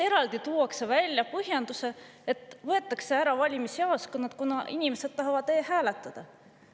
Eraldi tuuakse välja põhjendus, et valimisjaoskonnad pannakse kinni, kuna inimesed tahavad e-hääletada.